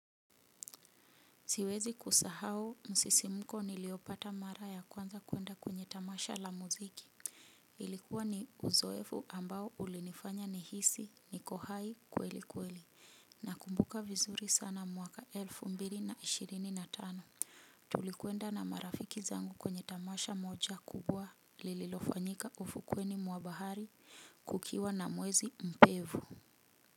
Siwezi kusahau msisimko niliopata mara ya kwanza kwenda kwenye tamasha la muziki. Ilikuwa ni uzoefu ambao ulinifanya nihisi niko hai kweli kweli. Nakumbuka vizuri sana mwaka elfu mbili na ishirini na tano. Tulikwenda na marafiki zangu kwenye tamasha moja kubwa lililofanyika ufukweni mwa bahari kukiwa na mwezi mpevu Muzika.